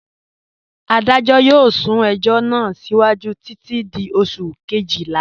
Adajọ yọọ sún ẹjọ̀ náà síwájú títi di Oṣù̀ kẹ́jìlá.